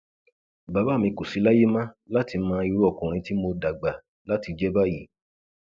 bàbá mi kò sì láyè mọ láti mọ irú ọkùnrin tí mo dàgbà láti jẹ báyìí